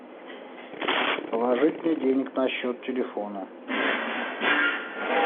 положить мне денег на счет телефона